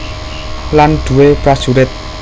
Lan duwé prajurit